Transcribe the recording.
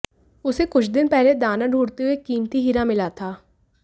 उसे कुछ दिन पहले दाना ढूंढ़ते हुए एक कीमती हीरा मिला था